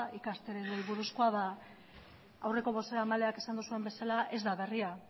aurreko bozeramaleek esan duzuen bezala ez da berria